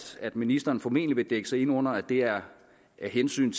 ministeren formentlig vil dække sig ind under at det er af hensyn